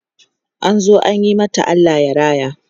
an zo ayi mata Allah raya